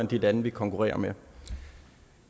de lande vi konkurrerer